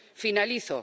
Finalizo.